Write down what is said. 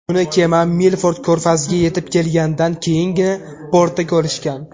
Uni kema Milford ko‘rfaziga yetib kelgandan keyingina portda ko‘rishgan.